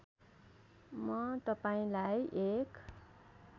म तपाईँलाई एक